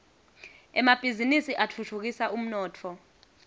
emabhizinisi atfutfukisa umnotfo